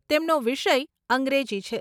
તેમનો વિષય અંગ્રેજી છે.